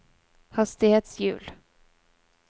hastighetshjul